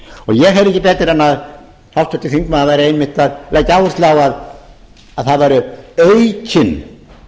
ég heyri ekki betur en að háttvirtur þingmaður væri einmitt að leggja áherslu á það væri aukinn